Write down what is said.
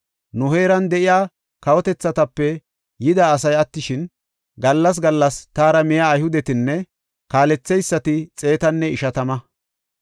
Nu heeran de7iya kawotethatape yida asay attishin, gallas gallas taara miya Ayhudetinne kaaletheysati xeetanne ishatama.